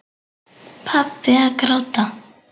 Pabbi að gráta!